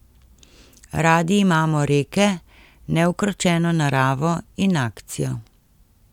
Radi imamo reke, neukročeno naravo in akcijo.